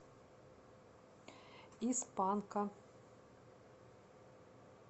из панка